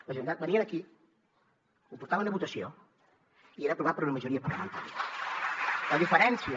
la generalitat venia aquí ho portaven a votació i era aprovat per una majoria parlamentària